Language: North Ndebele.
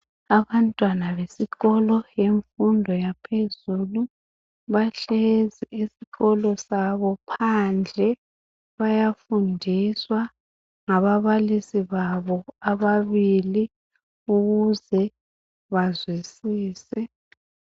Abantwana besikolo yemfundo yaphezulu bahlezi esikolo sabo phandle bayafundiswa ngababalisi babo ababili ukuze bazwisise.